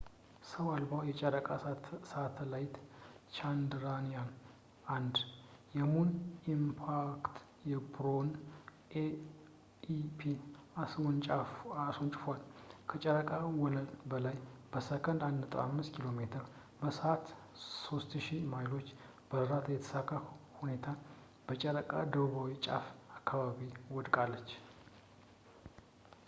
ሰው አልባው የጨረቃ ሳተላይት ቻንድራያን-1 የሙን ኢምፓክት ፕሮቡን ኤም.ኢይ.ፒ አስወንጭፏል፣ ከጨረቃ ወለል በላይ በሴኮንድ 1.5 ኪ.ሜ በሰዓት 3000 ማይሎች በራ በተሳካ ሁኔታ በጨረቃ ደቡባዊ ጫፍ አካባቢ ወድቃለች